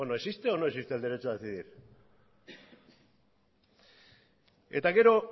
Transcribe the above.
bueno existe o no existe el derecho a decidir eta gero